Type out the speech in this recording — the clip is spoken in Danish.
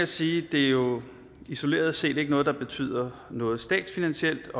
sige at det jo isoleret set ikke er noget der betyder noget statsfinansielt